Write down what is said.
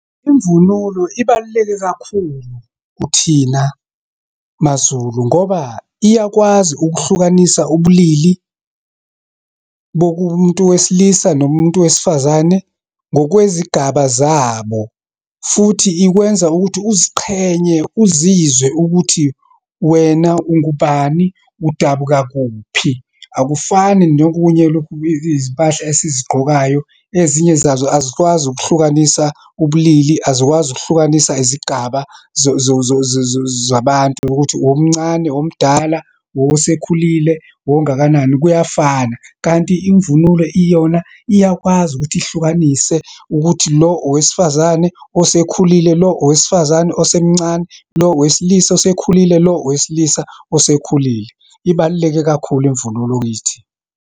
Imvunulo ibaluleke kakhulu kuthina maZulu, ngoba iyakwazi ukuhlukanisa ubulili bokumuntu wesilisa, nomuntu wesifazane ngokwezigaba zabo. Futhi ikwenza ukuthi uziqhenye, uzizwe ukuthi wena ungubani, udabuka kuphi. Akufani nokunye lokhu, izimpahla esizigqokayo, ezinye zazo azikwazi ukuhlukanisa ubulili, azikwazi ukuhlukanisa izigaba zabantu, ukuthi owumncane, uwomdala, uwosekhulile, uwongakanani, kuyafana. Kanti imvunulo iyona, iyakwazi ukuthi ihlukanise ukuthi, lo owesifazane osekhulile, lo owesifazane osemncane, lo owesilisa osekhulile, lo owesilisa osekhulile. Ibaluleke kakhulu imvunulo kithi.